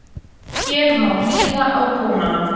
Hér má hlýða á tónana